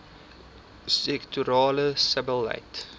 sektorale sebbeleid